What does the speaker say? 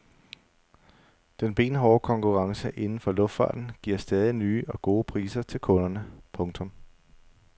Den benhårde konkurrence inden for luftfarten giver stadig nye og gode priser til kunderne. punktum